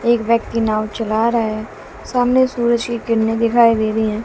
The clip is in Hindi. एक व्यक्ति नाव चला रहा है सामने सूरज की कीरने दिखाई दे रही है।